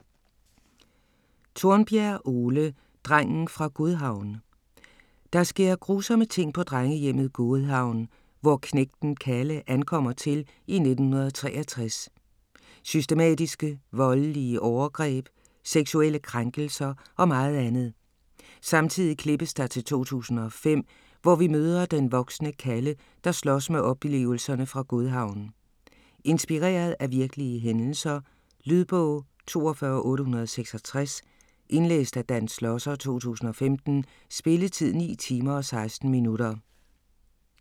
Tornbjerg, Ole: Drengen fra Godhavn Der sker grusomme ting på drengehjemmet Godhavn, hvor knægten Kalle ankommer til i 1963. Systematiske voldelige overgreb, seksuelle krænkelser og meget andet. Samtidig klippes der til 2005, hvor vi møder den voksne Kalle, der slås med oplevelserne fra Godhavn. Inspireret af virkelige hændelser. Lydbog 42866 Indlæst af Dan Schlosser, 2015. Spilletid: 9 timer, 16 minutter.